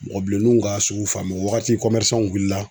Mɔgɔ bilenniw ka sugu o waati wulila.